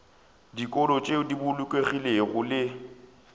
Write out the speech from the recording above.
dikolo tšeo di bolokegilego le